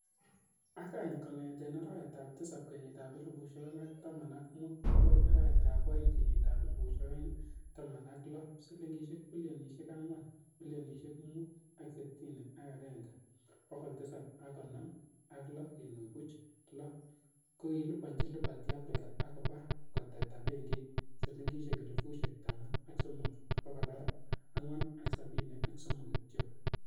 Ak any kongeten arawetab tisab kenyitab elfusiek oeng ak taman ak mut bokoi arawetab o'eng kenyitab elfusiek oeng ak Taman ak Loo, silingisiek bilionisiek Angwan, milionisiek mut ak sitini ak agenge ,bogol tisab ak konoom ak loo kenuch buch loo, kokikiliponyi Liberty Afrika ak koba koteta benkit silingisiek elfusiek taman ak somok, bogol Angwan ak sabini ak somok kityok.